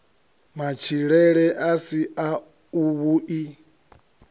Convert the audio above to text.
matshilele a si a vhui